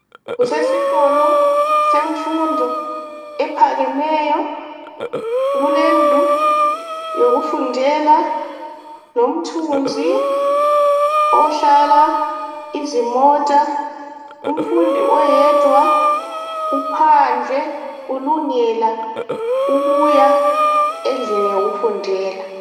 kusesikolo semfundo ephakemeyo kulendlu yokufundela lomthunzi ohlala izimota umfundi oyedwa uphandle ulungela ukuya endlini yokufundela